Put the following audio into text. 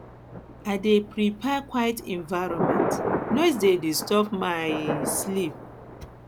i dey prefer quiet environment noise dey disturb my um sleep